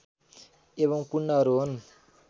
एवम् कुण्डहरू हुन्